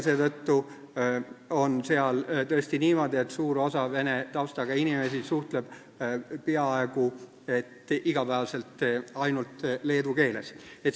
Seetõttu on seal tõesti niimoodi, et suur osa vene taustaga inimesi suhtleb peaaegu iga päev ainult leedu keeles.